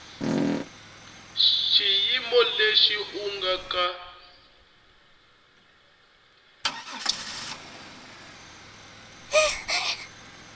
xiyimo lexi u nga ka